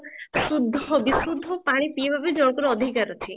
ଶୁଦ୍ଧ ବିଶୁଦ୍ଧ ପାଣି ପିଇବା ପାଇଁ ଜଣଙ୍କରଅଧିକାର ଅଛି